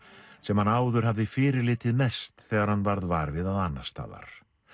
sem hann áður hafði fyrirlitið mest þegar hann varð var við það annars staðar